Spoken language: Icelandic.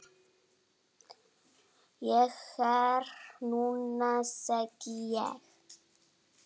Ég fer núna, segi ég.